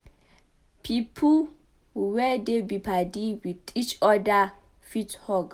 Pipo wey dey be padi with each oda fit hug